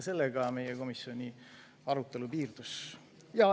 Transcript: Sellega meie komisjoni arutelu piirdus.